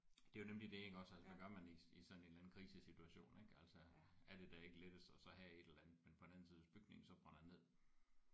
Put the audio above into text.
Det er jo nemlig det iggås altså hvad gør man i i sådan en eller anden krisesituation ik altså er det da ikke lettest at så have et eller andet men på den anden side hvis bygningen så brænder ned